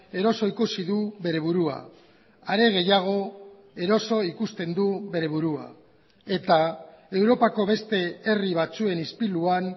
eroso ikusi du bere burua are gehiago eroso ikusten du bere burua eta europako beste herri batzuen ispiluan